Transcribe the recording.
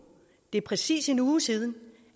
det er præcis en uge siden